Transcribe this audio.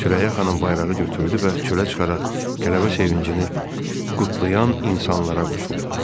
Sürəyya xanım bayrağı götürdü və çölə çıxaraq qələbə sevincini qutlayan insanlara qoşuldu.